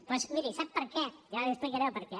doncs miri sap per què jo ara li explicaré el perquè